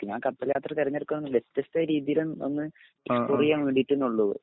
ഞാൻ കപ്പൽ യാത്ര തിരഞ്ഞെടുത്തത് വെത്യസ്ഥ രീതിയിൽ ഒന്ന്